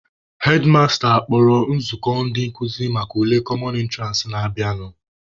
Hedmasta kpọrọ nzukọ ndị nkụzi maka ule "common entrance" na-abịanụ.